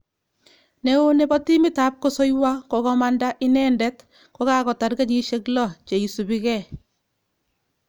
Neo nebo timit ap kosoiywo kokamanda inendet kokakotar kenyisiek 6 cheisupikei.